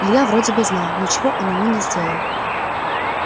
илья вроде бы знал ничего он ему не сделает